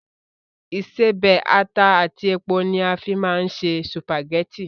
Ìṣebẹ̀, ata àti epo ni a fín máa ń se sùpàgẹ́tì